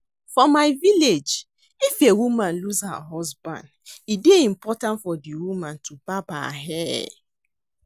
For my village if a woman lose her husband, e dey important for the woman to barb her hair